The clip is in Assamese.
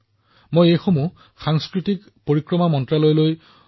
মই এইবোৰৰ অধ্যয়নৰ বাবে সংস্কৃতি মন্ত্ৰালয়লৈ পঠিয়াইছিলো